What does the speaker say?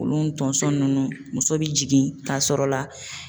Olu tonso nunnu muso bi jigin ka sɔrɔ la.